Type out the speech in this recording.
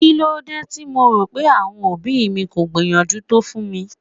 Kílódé tí mo rò pé àwọn òbí mi kò gbìyànjú tó fún mi?